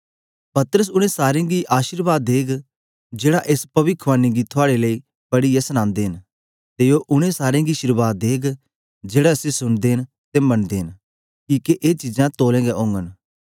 परमेसर उनै सारें गीं अशीर्वाद देग जेड़ा एस पविख्वानी गीं थुआड़े लेई पढ़िऐ सनांदे न ते ओ उनै सारे गीं शीर्वाद देग जेड़ा इसी सुनदे न ते मन्नदे न किके ए चीजां तोल्लेंगें ओंगन